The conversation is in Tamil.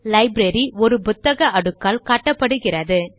லைப்ரரி ஒரு புத்தக அடுக்கால் காட்டப்படுகிறது